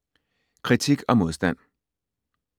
Kritik og modstand